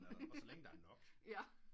Og så længe der er nok